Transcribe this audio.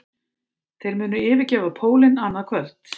Þeir munu yfirgefa pólinn annað kvöld